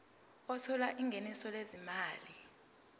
othola ingeniso lezimali